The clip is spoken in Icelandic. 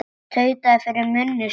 Tautaði fyrir munni sér.